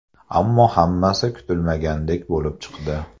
Ammo hammasi kutilmagandek bo‘lib chiqdi.